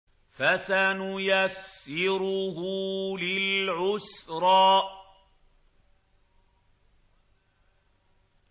فَسَنُيَسِّرُهُ لِلْعُسْرَىٰ